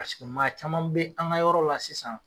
Paseke maa caman be an ga yɔrɔ la sisan